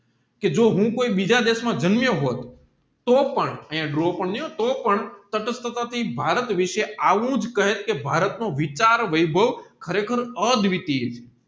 જો હું કોઈ બીજા દેશમાં જામનમિયો હોટ તોપણ તોપણ ભારતવિષય આવુજ કહેત કે ભારત નો વિચાર વૈભવ ખરે ખર આ ડીવીટીય છે